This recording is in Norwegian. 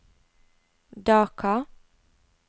Dhaka